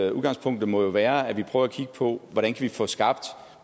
at udgangspunktet må være at vi prøver at kigge på hvordan vi kan få skabt